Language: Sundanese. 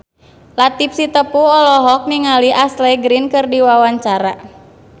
Latief Sitepu olohok ningali Ashley Greene keur diwawancara